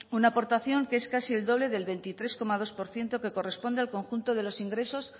una aportación que es casi el doble del veintitrés coma dos por ciento que corresponde al conjunto de los ingresos